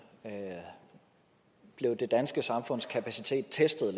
blev det danske samfunds kapacitet testet